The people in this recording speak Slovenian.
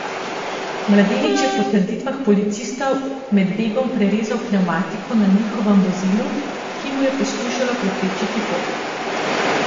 Mladenič je po trditvah policistov med begom prerezal pnevmatiko na njihovem vozilu, ki mu je poskušalo preprečiti pot.